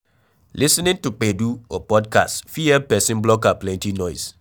Lis ten ing to gbedu or podcast fit help person block out plenty noise